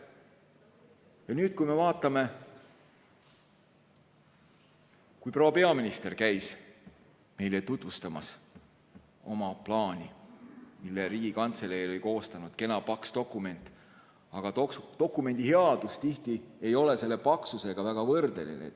Ja nüüd, kui me vaatame, proua peaminister käis meile tutvustamas oma plaani, mille Riigikantselei oli koostanud, kena paks dokument, aga dokumendi headus tihti ei ole selle paksusega väga võrdeline.